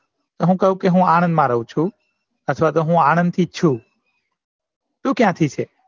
તો હું કહું કે હું આણંદ રવ છું અથવા તો હું આણંદ થી જ છું તું ક્યાંથી છે